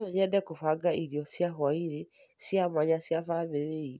No nyende kũbanga irio cia hwaĩ-inĩ cia mwanya cia famĩlĩ iitũ